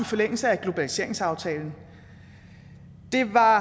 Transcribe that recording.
forlængelse af globaliseringsaftalen det var